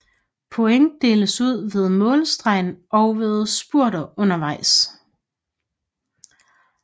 Point deles ud ved målstregen og ved spurter undervejs